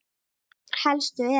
Helstu eru